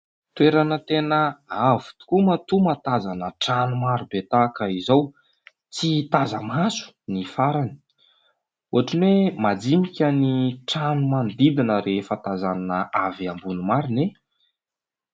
Toerana tena avo tokoa matoa mahatazana trano marobe tahaka izao. Tsy taza-maso ny farany. Ohatran'ny hoe majinika ny trano manodidina rehefa tazana avy ambony marina e !.